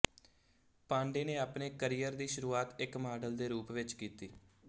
ਪਾਂਡੇ ਨੇ ਆਪਣੇ ਕਰੀਅਰ ਦੀ ਸ਼ੁਰੂਆਤ ਇੱਕ ਮਾਡਲ ਦੇ ਰੂਪ ਵਿੱਚ ਕੀਤੀ